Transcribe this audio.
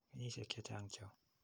Kenyisyek che chang' cho.